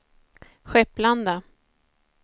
Skepplanda